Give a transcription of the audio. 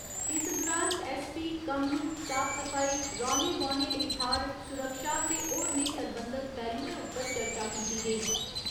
इस दुरान S. P. कम्म, साफ सफाई, रौह्‌ने बौह्‌ने लेई थाह्‌र, सुरक्षा ते होरनें सरबंधत पैह्‌लुएं उप्पर चर्चा कीती गेई।